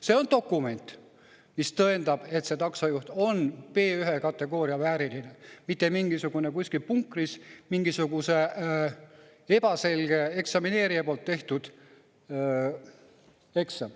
See on dokument, mis tõendab, et see taksojuht on B1 kategooria vääriline, mitte mingisugune kuskil punkris mingisuguse ebaselge eksamineerija poolt tehtud eksam.